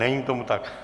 Není tomu tak.